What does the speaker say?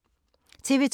TV 2